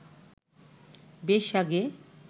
বেশ আগে